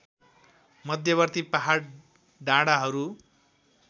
मध्यवर्ती पहाड डाँडाहरू